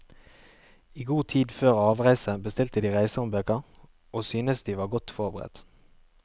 I god tid før avreise bestilte de reisehåndbøker og synes de var godt forberedt.